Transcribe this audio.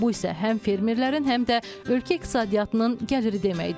Bu isə həm fermerlərin, həm də ölkə iqtisadiyyatının gəliri deməkdir.